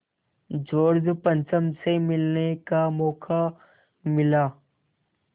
George पंचम से मिलने का मौक़ा मिला